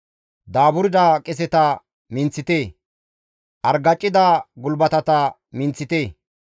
Daaburda qeseta minththite; argacida gulbatata minththite.